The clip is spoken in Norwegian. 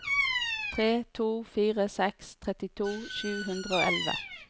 tre to fire seks trettito sju hundre og elleve